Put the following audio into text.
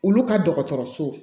Olu ka dɔgɔtɔrɔso